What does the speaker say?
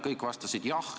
Kõik vastasid: "Jah!